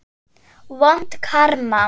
Hún lifði því til fulls.